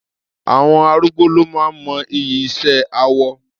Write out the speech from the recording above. Àwọn arúgbó ló máa ń mọ iyì iṣẹ́ awọ.